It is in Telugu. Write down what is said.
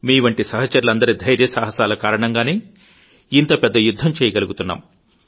మీవంటి సహచరులందరీ ధైర్యసహసాల కారణంగానే ఇంతపెద్ద యుద్ధం చేయగలుగుతున్నాం